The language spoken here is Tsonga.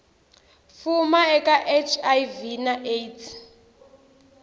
fuma eka hiv na aids